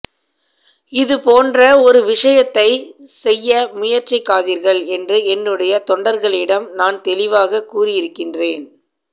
இது போன்ற ஒரு விசயத்தை செய்ய முயற்சிக்காதீர்கள் என்று என்னுடைய தொண்டர்களிடம் நான் தெளிவாக கூறியிருக்கின்றேன்